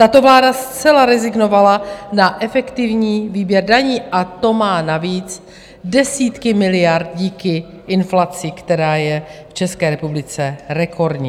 Tato vláda zcela rezignovala na efektivní výběr daní, a to má navíc desítky miliard díky inflaci, která je v České republice rekordní.